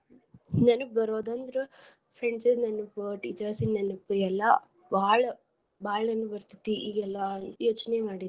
ನೆನಪ್ ಬರೋದ್ ಅಂದ್ರ friends ದ್ ನೆನದ್ teachers ದ್ ನೆನಪ್ ಎಲ್ಲಾ ಬಾಳ ಬಾಳ ನೆನಪ್ ಇರ್ತೆತಿ ಈಗ ಎಲ್ಲಾ ಯೋಚ್ನೆ ಮಾಡಿದ್ರ.